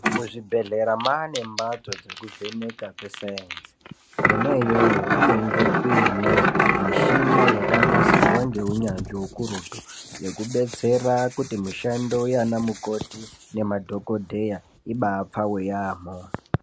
Muzvibhehlera mwaanembatso dzekuvheneka kwesainzi. Kona iyoyo kunenge kuine michina yakanasirwa ngeunyanzvi hukurutu, yekubetsera kuti mishando yaana mukoti nemadhaogodheya ibaapfave yaamho.